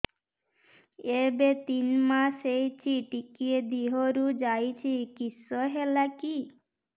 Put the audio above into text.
ଏବେ ତିନ୍ ମାସ ହେଇଛି ଟିକିଏ ଦିହରୁ ଯାଉଛି କିଶ ହେଲାକି